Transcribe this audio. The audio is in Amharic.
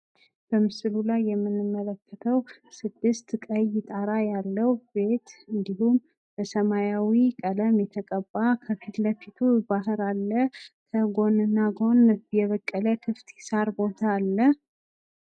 በምስሉ ላይ የምንመልከተው ስድስት ቀይ ጣራ ያለው ቤት እንዲሁም በሰማያዊ ቀለም የተቀባ በፊት ለፊቴ ባህር አለ። በጎን እና ጎን የበቀለ ክፍት ሳር ቦታ አለ።